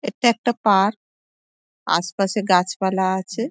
এটা একটা পার্ক আসে পাশে গাছ পালা আছে ।